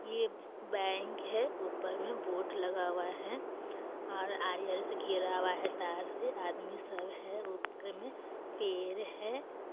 ये बैंक है ऊपर में बोर्ड लगा हुआ है और से घेरा हुआ है तार से आदमी सब है ऊपर में पेर है।